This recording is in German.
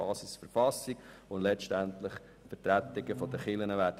Die Verfassung bildet die Basis.